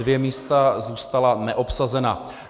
Dvě místa zůstala neobsazena.